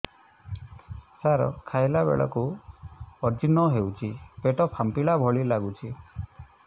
ସାର ଖାଇଲା ବେଳକୁ ଅଜିର୍ଣ ହେଉଛି ପେଟ ଫାମ୍ପିଲା ଭଳି ଲଗୁଛି